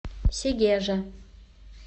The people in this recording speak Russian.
сегежа